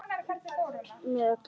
Með öllum síðunum?